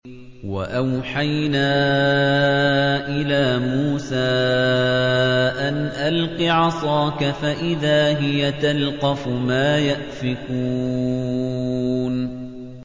۞ وَأَوْحَيْنَا إِلَىٰ مُوسَىٰ أَنْ أَلْقِ عَصَاكَ ۖ فَإِذَا هِيَ تَلْقَفُ مَا يَأْفِكُونَ